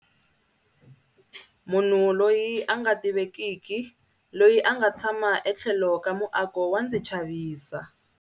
Munhu loyi a nga tivekiki loyi a nga tshama etlhelo ka muako wa ndzi chavisa